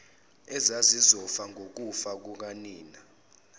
ezazizofa ngokufa kukanina